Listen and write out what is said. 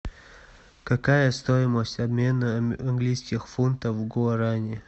какая стоимость обмена английских фунтов в гуарани